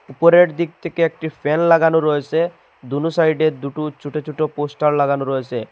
উপরের দিক থেকে একটি ফ্যান লাগানো রয়েছে দুনো সাইডে দুটো ছোট ছোট পোস্টার লাগানো রয়েছে।